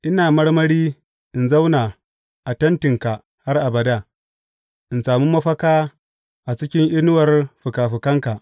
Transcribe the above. Ina marmari in zauna a tentinka har abada in sami mafaka a cikin inuwar fikafikanka.